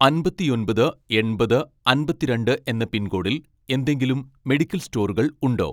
അമ്പത്തിയൊമ്പത് എൺപത് അമ്പത്തിരണ്ട് എന്ന പിൻകോഡിൽ എന്തെങ്കിലും മെഡിക്കൽ സ്റ്റോറുകൾ ഉണ്ടോ